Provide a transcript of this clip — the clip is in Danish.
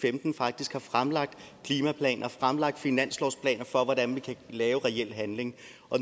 femten faktisk har fremlagt klimaplaner fremlagt finanslovsplaner for hvordan vi kan lave reel handling